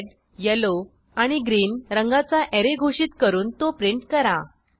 red yellow आणि green रंगाचा array घोषित करून तो प्रिंट करा